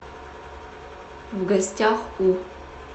в гостях у